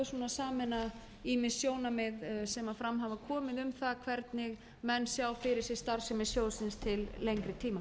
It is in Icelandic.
sameina ýmis sjónarmið sem fram hafa komið um það hvernig menn sjá fyrir sér starfsemi sjóðsins til lengri tíma